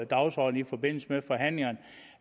dagsordenen i forbindelse med forhandlingerne